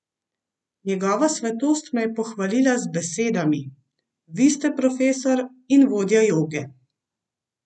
Njegova svetost me je pohvalila z besedami: 'Vi ste profesor in vodja joge.